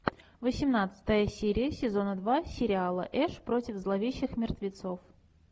восемнадцатая серия сезона два сериала эш против зловещих мертвецов